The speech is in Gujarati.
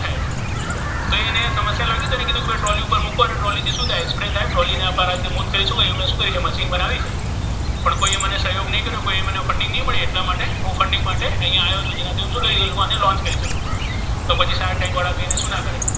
અને ટ્રોલી પર મુકો અને ટ્રોલી થી શુ થાય સ્પ્રૅ થાય પણ કોઇઍ મને સહયોગ ન કર્યો કોઇઍ મને funding ન કર્યા અને ઍના funding માટે હુ અહીયા આવ્યો છુ તેથી હુ આને launch કરી શકુ તો પછી સારા ટેન્ક વાળા શુ ના કરે.